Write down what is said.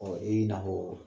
Ɔɔ i na hɔr